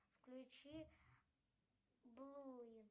включи блуи